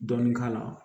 Dɔɔnin k'a la